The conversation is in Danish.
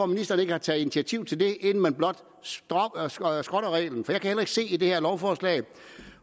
ministeren ikke taget initiativ til det inden man blot skrotter reglen for jeg kan ikke se i det her lovforslag